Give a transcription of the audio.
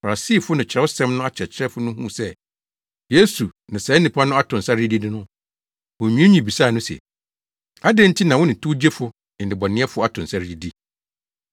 Farisifo ne Kyerɛwsɛm no akyerɛkyerɛfo no huu sɛ Yesu ne saa nnipa no ato nsa redidi no, wonwiinwii bisaa no se, “Adɛn nti na wo ne towgyefo ne nnebɔneyɛfo ato nsa redidi?”